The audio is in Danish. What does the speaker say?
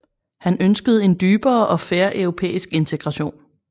Han ønskede en dybere og fair europæisk integration